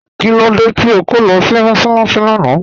Kílódé tí o kọ̀ lọ́ sí mọ́sálaṣì lána?